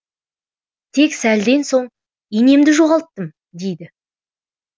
тек сәлден соң инемді жоғалттым дейді